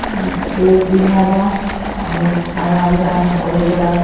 अ space दिहा बा और हरा भरा बहुत बड़ा --